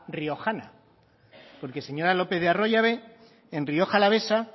riojana porque señora lopez de arroyabe en rioja alavesa